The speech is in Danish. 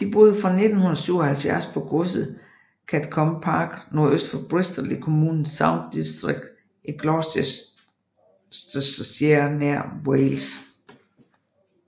De boede fra 1977 på godset Gatcombe Park nordøst for Bristol i kommunen Stroud District i Gloucestershire nær Wales